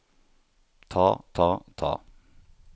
ta ta ta